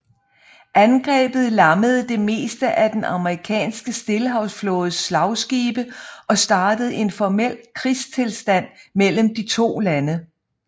Angrebet lammede det meste af den amerikanske Stillehavsflådes slagskibe og startede en formel krigstilstand mellem de to lande